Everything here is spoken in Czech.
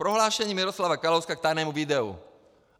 Prohlášení Miroslava Kalouska k tajnému videu.